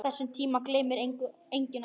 Þessum tíma gleymir enginn okkar.